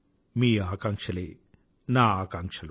మీ ఆకాంక్షలే నా ఆకాంక్షలు